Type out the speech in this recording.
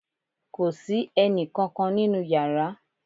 Kò sí ẹnì kankan nínú yàrá